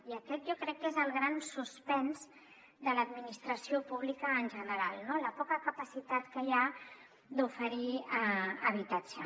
i aquest jo crec que és el gran suspens de l’administració pública en general no la poca capacitat que hi ha d’oferir habitatge